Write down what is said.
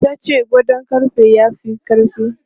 Ta ce gadon ƙarfe ya fi ƙarfi.